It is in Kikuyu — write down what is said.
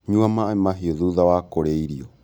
Nyua maaĩ mahiũ thutha wa kũrĩa irio